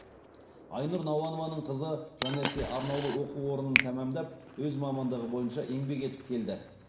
айнұр науанованың қызы жанерке арнаулы оқу орнын тәмамдап өз мамандығы бойынша еңбек етіп келді